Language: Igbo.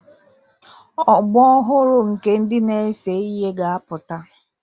Ọgbọ ọhụrụ nke ndị na-ese ihe ga-apụta